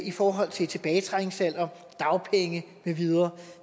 i forhold til tilbagetrækningsalder dagpenge med videre